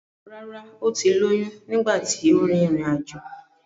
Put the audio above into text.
Rárá ó ti lóyún nígbà tí ó rin ìrìn àjò.